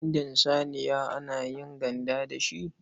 Bindin saniya ma ana yin ganda da shi.